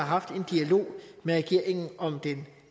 haft en dialog med regeringen om den